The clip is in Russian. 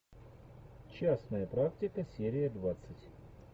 частная практика серия двадцать